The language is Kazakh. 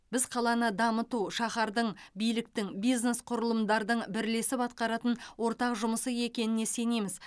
біз қаланы дамыту шаһардың биліктің бизнес құрылымдардың бірлесіп атқаратын ортақ жұмысы екеніне сенеміз